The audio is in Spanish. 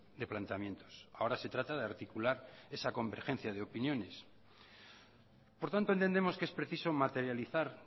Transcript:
de planteamientos ahora se trata de articular esa convergencia de opiniones por tanto entendemos que es preciso materializar